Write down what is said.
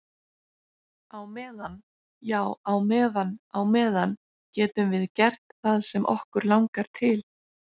Á meðan, já á meðan á meðan getum við gert það sem okkur langar til.